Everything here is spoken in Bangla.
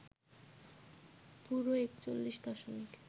পুরো ৪১ দশমিক